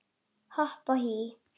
Hopp og hí